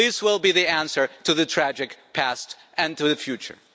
This will be the answer to the tragic past and to the future.